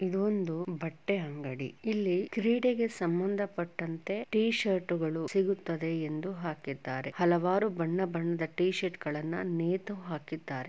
ಇದೊಂದು ಬಟ್ಟೆ ಅಂಗಡಿ. ಇಲ್ಲಿ ಕ್ರೀಡೆಗೆ ಸಂಭಂದ ಪಟ್ಟಂತೆ ಟಿ ಶರ್ಟ್ ಗಳು ಸಿಗುತ್ತದೆ ಎಂದು ಹಾಕಿದ್ದಾರೆ. ಹಲವಾರು ಬಣ್ಣ ಬಣ್ಣದ ಟಿ ಶರ್ಟ್ ಗಳನ್ನ ನೇತು ಹಾಕಿದ್ದಾರೆ.